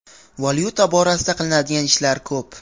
Valyuta borasida qilinadigan ishlar ko‘p.